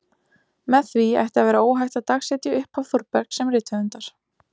Með því ætti að vera óhætt að dagsetja upphaf Þórbergs sem rithöfundar.